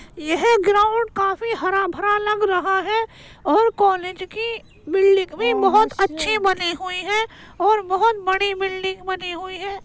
यह ग्राउंड काफी हरा-भरा लग रहा है और कॉलेज की बिल्डिंग भी बोहोत अच्छे बने हुए हैं और बोहोत बड़ी बिल्डिंग बनी हुई है।